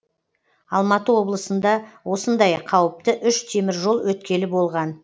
алматы облысында осындай қауіпті үш теміржол өткелі болған